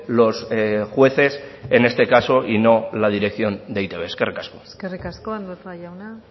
los jueces en este caso y no la dirección de e i te be eskerrik asko eskerrik asko andueza jauna